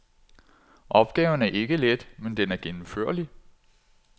Opgaven er ikke let, men den er gennemførlig.